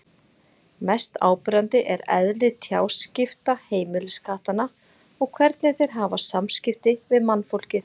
Mest áberandi er eðli tjáskipta heimiliskattanna og hvernig þeir hafa samskipti við mannfólkið.